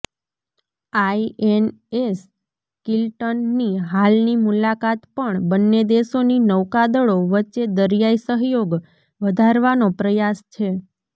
INS Kiltan ની હાલની મુલાકાત પણ બંને દેશોની નૌકાદળો વચ્ચે દરિયાઇ સહયોગ વધારવાનો પ્રયાસ છે